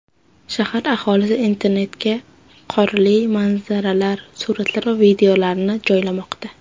Shahar aholisi internetga qorli manzaralar suratlari va videolarini joylamoqda.